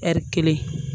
Ɛri kelen